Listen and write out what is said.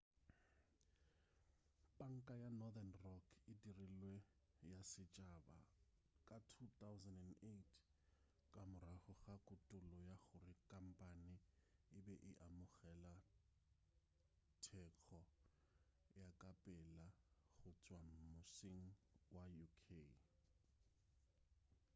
panka ya northern rock e dirilwe ya setšhaba ka 2008 ka morago ga kutullo ya gore khampane e be e amogela thekgo ya ka pela go tšwa mmusing wa uk